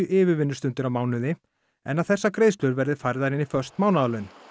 yfirvinnustundir á mánuði en að þessar greiðslur verði færðar inn í föst mánaðarlaun